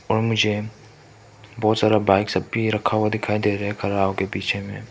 और मुझे बहोत सारा बाइक सब भी रखा हुआ दिखाई दे रहे है खड़ा होके पीछे मे।